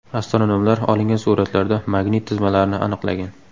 Astronomlar olingan suratlarda magnit tizmalarni aniqlagan.